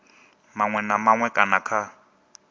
maṅwe na maṅwe kana kha